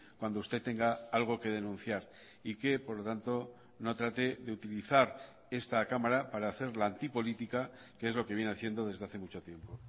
cuando usted tenga algo que denunciar y que por lo tanto no trate de utilizar esta cámara para hacer la antipolítica que es lo que viene haciendo desde hace mucho tiempo